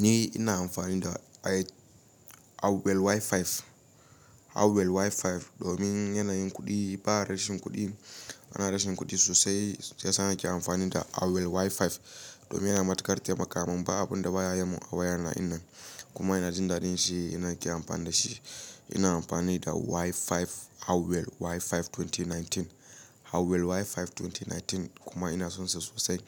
Ni ina amfani da Huawei Y5, Huawei Y5 domin yana yin kuɗi. Ba rashin kuɗi ba rashin kuɗi sosai. Shi yasa na ke amfani da Huawei Y5 domin yana matukar taimaka min. Ba abun da ba ya yiman a waya na dinnan kuma ina jin daɗin shi. In nake amfani da shi. Ina amfani da Y5, Huawei Y5 2019, Huawei Y5 2019 kuma ina son sa sosai